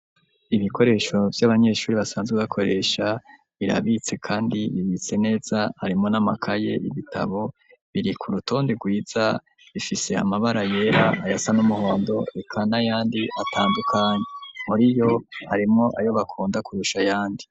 Ibikoresho vy'abanyeshuri basanzwe bakoresha birabitse kandi bibitse neza, harimwo n'amakaye, ibitabo biri ku rutonde rwiza, ifise amabara yera, ayasa n'umuhondo eka n'ayandi atandukanye. Muri yo arimwo ayo bakunda kurusha ayandi.